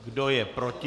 Kdo je proti?